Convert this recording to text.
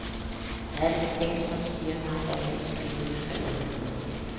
Der er et instinkt som siger mig, at jeg kan skrive, skriver han.